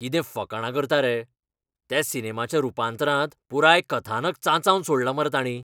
कितें फकाणां करता रे? त्या सिनेमाच्या रुपांतरांत पुराय कथानक चांचावन सोडलां मरे तांणी.